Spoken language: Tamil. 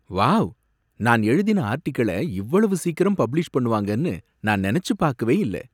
வாவ்! நான் எழுதின ஆர்டிகிள இவ்வளவு சீக்கிரம் பப்ளிஷ் பண்ணுவாங்கன்னு நான் நெனச்சு பாக்கவே இல்ல.